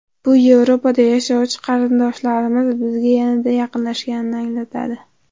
Bu Yevropada yashovchi qarindoshlarimiz bizga yanada yaqinlashganini anglatadi.